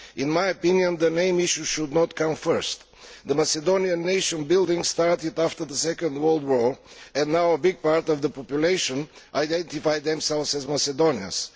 In my opinion, the name issue should not come first. Macedonian nation building started after the Second World War and now a big part of the population identify themselves as Macedonians.